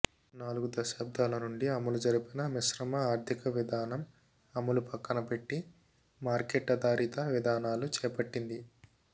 నాలుగు దశాబ్దాల నుండి అమలు జరిపిన మిశ్రమ ఆర్థిక విధానం అమలు పక్కనపెట్టి మార్కెట్ ఆధారిత విధానాలు చేపట్టింది